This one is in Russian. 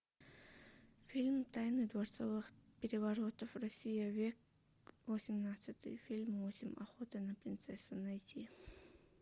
фильм тайны дворцовых переворотов россия век восемнадцатый фильм восемь охота на принцессу найти